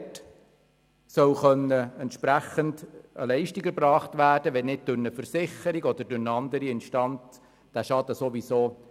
Dabei soll entsprechend eine Leistung erbracht werden können, wenn der Schaden nicht sowieso durch eine Versicherung oder eine andere Instanz ersetzt wird.